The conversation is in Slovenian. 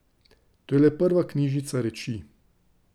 To je le prva knjižnica reči.